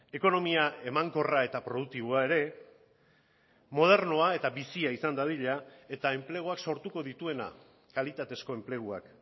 ekonomia emankorra eta produktiboa ere modernoa eta bizia izan dadila eta enpleguak sortuko dituena kalitatezko enpleguak